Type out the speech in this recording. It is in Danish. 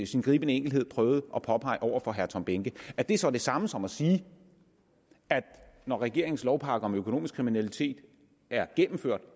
sin gribende enkelhed prøvede at påpege over for herre tom behnke er det så det samme som at sige at når regeringens lovpakke om økonomisk kriminalitet er gennemført